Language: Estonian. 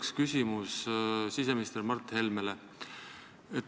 Mul on küsimus siseminister Mart Helmele.